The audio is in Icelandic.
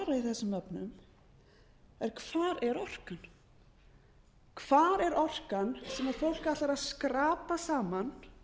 í þessum efnum er hvar er orkan hvar er orkan sem fólk ætlar að skrapa saman